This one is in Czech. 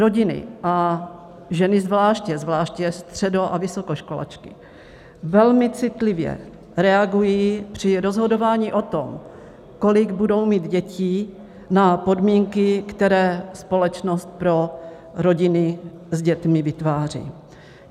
Rodiny a ženy zvláště, zvláště středo- a vysokoškolačky, velmi citlivě reagují při rozhodování o tom, kolik budou mít dětí, na podmínky, které společnost pro rodiny s dětmi vytváří.